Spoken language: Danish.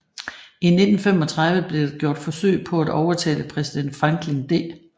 I 1935 blev der gjort forsøg på at overtale præsident Franklin D